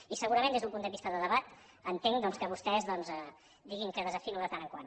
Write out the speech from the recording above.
i segurament des d’un punt de vista de debat entenc doncs que vostès diguin que desafino de tant en tant